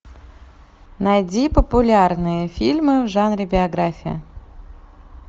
найди популярные фильмы в жанре биография